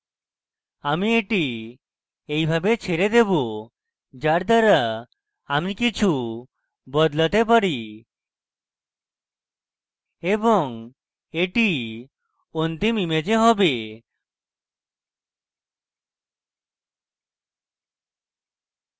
আমি এটি এইভাবে ছেড়ে দেবো যার দ্বারা আমি কিছু বদলাতে পারি এবং এটি অন্তিম image হবে